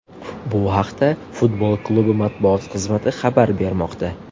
Bu haqda futbol klubi matbuot xizmati xabar bermoqda .